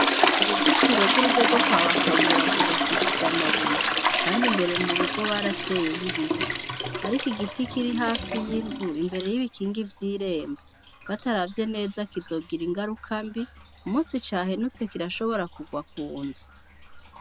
Uruzitiro rw'urugo rwo kwaba Kabura rwubakishije amabuye, kandi imbere m'urugo barateyeyo ibiti, ariko igiti kiri hafi y'inzu imbere y'ibikingi vy'irembo bataravye kizogira ingaruka mbi, umusi cahenutse kirashobora kurwa kunzu.